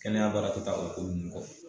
Kɛnɛya baara te taa o ko nunnu kɔ.